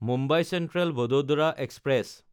Mumbai Central-Vadodara express